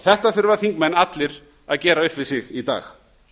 þetta þurfa þingmenn allir að gera upp við sig í dag